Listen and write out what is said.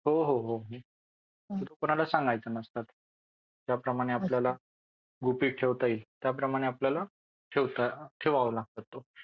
हो हो म्हणून कोणाला सांगायचं नसतं ज्याप्रमाणे आपल्याला गुपित ठेवता येईल त्याप्रमाणे आपल्याला ठेवावं लागतं.